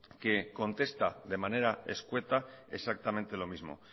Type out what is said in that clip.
que contesta de manera escueta exactamente lo mismo